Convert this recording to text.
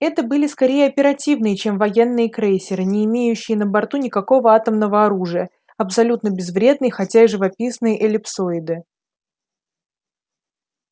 это были скорее оперативные чем военные крейсеры не имеющие на борту никакого атомного оружия абсолютно безвредные хотя и живописные эллипсоиды